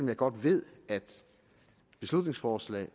jeg godt ved at beslutningsforslag